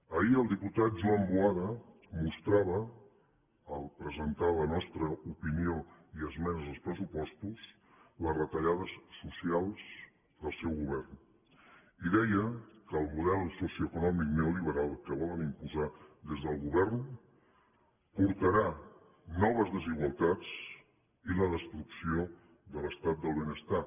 ahir el diputat joan boada mostrava al presentar la nostra opinió i esmenes als pressupostos les retallades socials del seu govern i deia que el model socioeconòmic neoliberal que volen imposar des del govern portarà noves desigualtats i la destrucció de l’estat del benestar